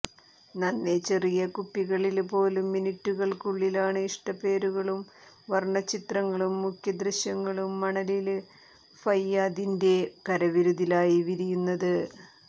നന്നേ ചെറിയ കുപ്പികളില് പോലും മിനുറ്റുകള്ക്കുള്ളിലാണ് ഇഷ്ട പേരുകളും വര്ണ ചിത്രങ്ങളും മുഖ ദൃശ്യങ്ങളും മണലില് ഫയ്യാദിന്റെ കരവിരുതിലായി വിരിയുന്നത്